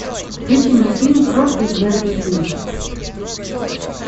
включи мне фильм крошка из беверли хиллз